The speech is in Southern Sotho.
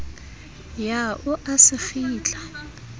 ya o a se kgitla